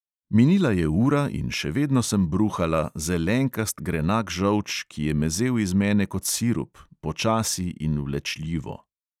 Minila je ura in še vedno sem bruhala zelenkast grenak žolč, ki je mezel iz mene kot sirup, počasi in vlečljivo.